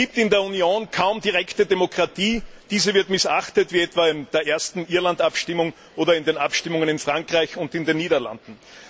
Es gibt in der Union kaum direkte Demokratie, diese wird missachtet, wie etwa in der ersten Irland Abstimmung oder in den Abstimmungen in Frankreich und in den Niederlanden.